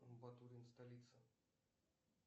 батурин столица